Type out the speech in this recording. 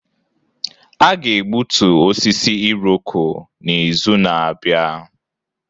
A ga-egbutu osisi Irọko n'izu na-abịa.